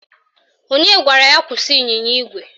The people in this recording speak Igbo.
Onye gwara ya kwụsị ịnyịnya ígwè?